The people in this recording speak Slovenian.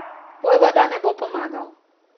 Vojvoda ne bo pomagal.